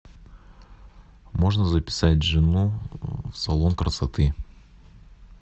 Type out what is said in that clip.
можно записать жену в салон красоты